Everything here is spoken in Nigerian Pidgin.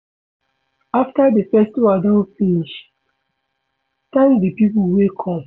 After di festival don finish, thank di pipo wey come